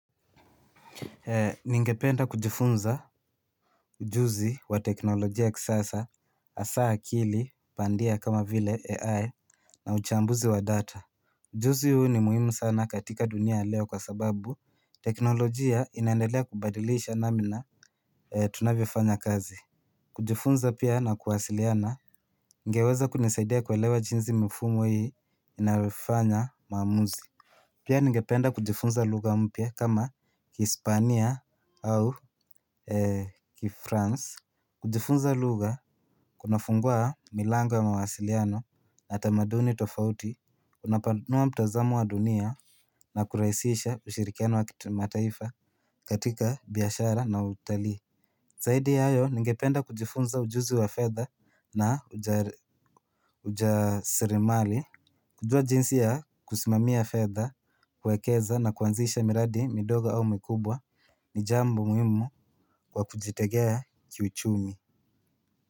Ningependa kujifunza ujuzi wa teknolojia ya kisasa hasa akili pandia kama vile AI na uchambuzi wa data. Ujuzi huu ni muhimu sana katika dunia ya leo kwa sababu teknolojia inaendelea kubadilisha namna tunavyofanya kazi. Kujifunza pia na kuwasiliana ingeweza kunisaidia kuelewa jinsi mfumo hii inavyofanya maamuzi. Pia ningependa kujifunza lugha mpya kama kihispania au kifrance. Kujifunza lugha kunafungua milango mawasiliano na tamaduni tofauti. Kunapanua mtazamo wa dunia na kurahisisha ushirikiano wa mataifa katika biashara na utalii. Zaidi ya hayo ningependa kujifunza ujuzi wa fedha na uja ujasiri mali. Kujua jinsi ya kusimamia fedha, kuekeza na kuanzisha miradi, midogo au mikubwa ni jambo muhimu kwa kujitegea kiuchumi.